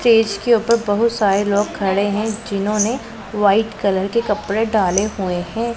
Stage के ऊपर बहुत सारे लोग खड़े हैं जिन्होंने व्हाइट कलर के कपड़े डाले हुए हैं।